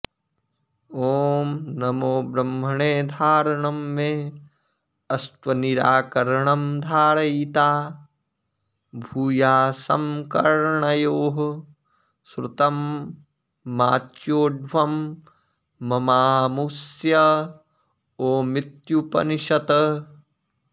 ॐ नमो ब्रह्मणे धारणं मे अस्त्वनिराकरणं धारयिता भूयासं कर्णयोः श्रुतं माच्योढ्वं ममामुष्य ओमित्युपनिषत्